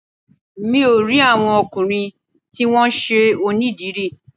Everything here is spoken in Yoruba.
Mò ń rí àwọn ọkùnrin tí wón ṣe onídìrí.